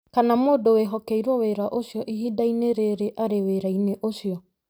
kana mũndũ wĩhokeirũo wĩra ũcio, ihinda-inĩ rĩrĩa arĩ wĩra-inĩ ũcio.